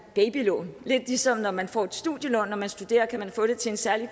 babylån lidt ligesom når man får et studielån når man studerer kan man få det til en særlig